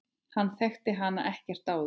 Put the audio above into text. Hann þekkti hann ekkert áður.